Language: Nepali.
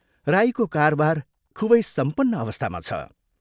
राईको कारबार खूबै सम्पन्न अवस्थामा छ।